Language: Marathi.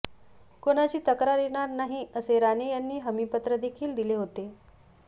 कोणाची तक्रार येणार नाही असे राणे यांनी हमी पत्र देखील दिले होते